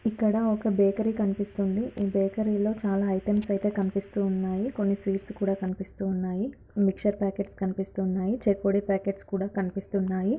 ఇక్కడ ఒక బేకరీ కనిపిస్తుంది ఈ బేకరీలో చాలా ఐటెంస్ అయితే కనిపిస్తూ ఉన్నాయి కొన్ని స్వీట్స్ కూడా కనిపిస్తూ ఉన్నాయి మీక్షర్ ప్యాకెట్స్ కనిపిస్తూ ఉన్నాయి చెకోడి ప్యాకెట్స్ కూడా కనిపిస్తూ ఉన్నాయి.